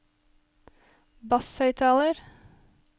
basshøyttaler